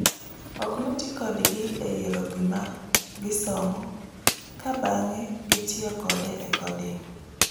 Ok notii kodgi e yiero gima gisomo ka bang'e gitiyo kode e coding